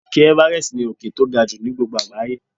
Òkè everest ní òkè tó ga jù ni gbogbo àgbáyé.